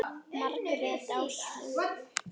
Margrét Ástrún.